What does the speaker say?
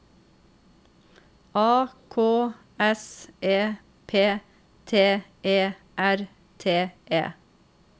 A K S E P T E R T E